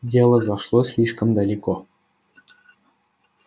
дело зашло слишком далеко